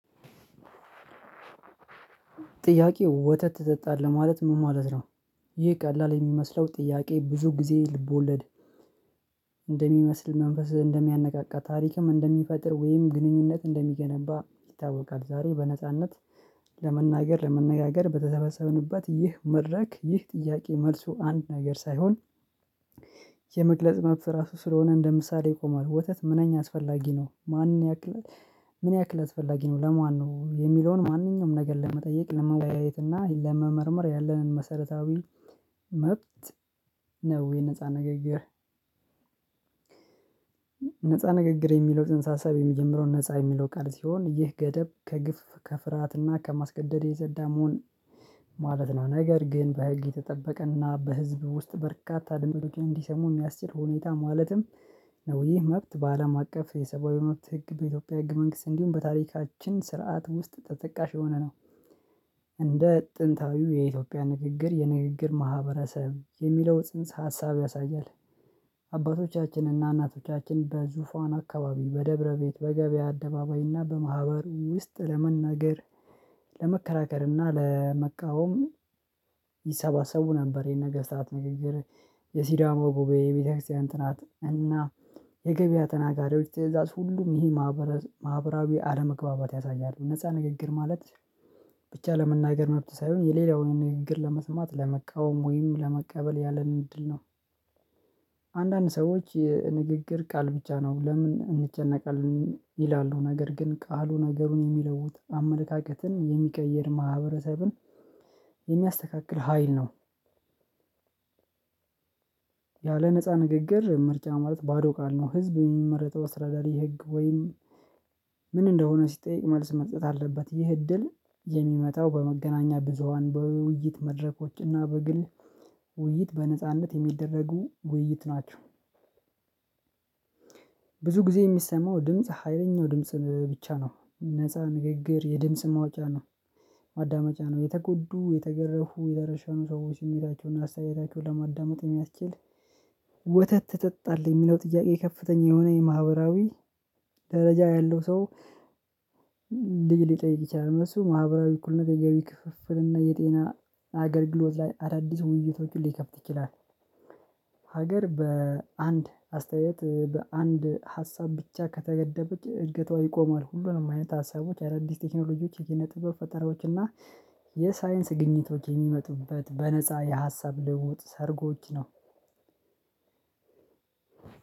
ጥያቄው ወተት ትጠጣለህ ማለት ምን ማለት ነው? ይህ ቀላል የሚመስለው ጥያቄ ብዙ ጊዜ ልቦለድ እንደሚመስል መንፈስ እንደሚያነቃቃ ታሪክም እንደሚፈጥር ወይም ግንኙነት እንደሚገነባ ይታወቃል። ዛሬ በነጻነት ለመናገር ለመነጋገር በተሰበሰብንበት ይህ መድረክ ይህ ጥያቄ መልሱ አንድ ነገር ሳይሆን የመግለጽ መብት ራሱ ስለሆነ እንደ ምሳሌ ይቆማል። ወተት ምነኛ አስፈላጊ ነው ማን ያክል ምን ያክል አስፈላጊ ነው ለማን ነው የሚለውን ማንኛውም ነገር ለመጠየቅ ለመወያየት እና ለመመርመር ያለንን መሰረታዊ መብት ነው። የነፃ ንግግር ነፃ ንግግር የሚለው ጽንሰ ሀሳብ የሚጀምረው ነፃ የሚለው ቃል ሲሆን ይህ ገደብ ከግፍ ከፍርሃትና ከማስገደድ የጸዳ መሆን ማለት ነው። ነገር ግን በህግ የተጠበቀና በህዝብ ውስጥ በርካታ ድንበር ውጪ እንዲሰሙ የሚያስችል ሁኔታ ማለትም ነው። ይህ መብት በአለም አቀፍ የሰባዊ መብት ህግ በኢትዮጵያ ህግ መንግስት እንዲሁም በታሪካችን ስርዓት ውስጥ ተጠቃሽ የሆነ ነው። እንደ ጥንታዊው የኢትዮጵያ ንግግር የንግግር ማህበረሰብ የሚለው ጽንሰ ሀሳብ ያሳያል። አባቶቻችን እና እናቶቻችን በዙፋን አካባቢ በደብረ ቤት በገበያ አደባባይና በማህበር ውስጥ ለመናገር ለመከራከርና ለመቃወም ይሰባሰቡ ነበር የነገስታት ንግግር። የሲዳማ ጉባኤ የቤተክርስቲያን እንትንናት እና የገበያ ተናጋሪዎች ትእዛዝ ሁሉም ይሄ ማህበራዊ አለመግባባት ያሳያሉ። ነፃ ንግግር ማለት ብቻ ለመናገር መብት ሳይሆን የሌላውን ንግግር ለመስማት ለመቃወም ወይም ለመቀበል ያለንን እድል ነው። አንዳንድ ሰዎች የንግግር ቃል ብቻ ነው ለምን እንጨነቃለን ይላሉ ነገር ግን ቃሉ ነገሩን የሚለውጥ አመለካከትን የሚቀይር ማህበረሰብን የሚያስተካክል ሀይል ነው። ያለ ነፃ ንግግር ምርጫ ማለት ባዶ ቃል ነው ህዝብ የሚመረጠው አስተዳዳሪ ህግ ወይም ምን እንደሆነ ሲጠይቅ መልስ መስጠት አለበት። ይህ እድል የሚመጣው በመገናኛ ብዙሃን በውይይት መድረኮች እና በግል ውይይት በነጻነት የሚደረጉ ውይይት ናቸው። ብዙ ጊዜ የሚሰማው ድምጽ ሀይለኛው ድምጽ ብቻ ነው ነፃ ንግግር የድምጽ ማዋጫ ነው። ማዳመጫ ነው የተጎዱ የተገረፉ የረሻውን ሰዎች የሚላቸውን አስተያየታቸውን ለማዳመጥ የሚያስችል። ወተት ትጠጣለህ የሚለው ጥያቄ ከፍተኛ የሆነ የማህበራዊ ደረጃ ያለው ሰው ልጅ ሊጠይቅ ይችላል። እነሱ ማህበራዊ እኩል ነገር የገቢ ክፍፍል እና የጤና አገልግሎት ላይ አዳዲስ ውይይቶች ሊከፍት ይችላል። ሀገር በአንድ አስተያየት በአንድ ሀሳብ ብቻ ከተገደበች እድገቷ ይቆማል ሁሉንም አይነት ሀሳቦች አዳዲስ ቴክኖሎጂዎች ይሄን ኪነ ጥበብ ፈጠራዎች እና የሳይንስ ግኝቶች የሚመጡበት በነፃ የሀሳብ ልውጥ ሰርጎች ነው።